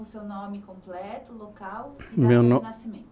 seu nome completo, local e data de nascimento.